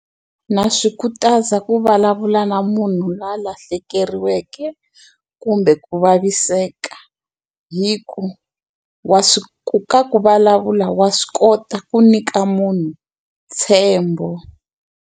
Na swi khutaza ku vulavula na munhu loyi a lahlekeriweke kumbe ku vaviseka hi ku wa swi ka ku vulavula wa swi kota ku nyika munhu ntshembo.